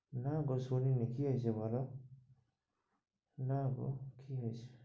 না গো শুনি নি কি হয়েছে বলো? না গো কি হয়েছে?